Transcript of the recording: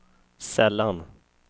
sällan